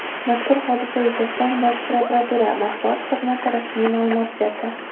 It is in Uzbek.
Mazkur hodisa yuzasidan Bosh prokuratura Matbuot xizmati rasmiy ma’lumot berdi.